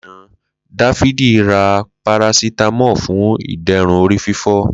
Lana, Dafidi ra parasitamọ fún ìderùn orí fifọ.